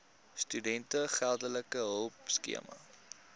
studente geldelike hulpskema